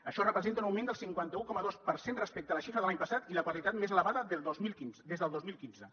això representa un augment del cinquanta un coma dos per cent respecte a la xifra de l’any passat i la quantitat més elevada des del dos mil quinze